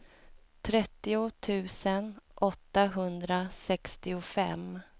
trettio tusen åttahundrasextiofem